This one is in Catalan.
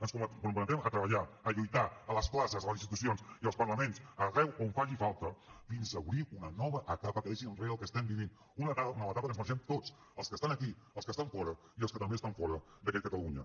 ens comprometem a treballar a lluitar a les classes a les institucions i als parlaments arreu on faci falta fins a obrir una nova etapa que deixi enrere el que estem vivint una nova etapa que ens mereixem tots els que estan aquí els que estan fora i els que també estan fora d’aquí catalunya